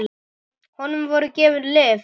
Honum voru gefin lyf.